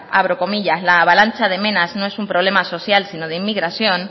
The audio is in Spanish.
abro comillas la avalancha de menas no es un problema social si no de inmigración